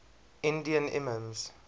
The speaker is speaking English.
indian imams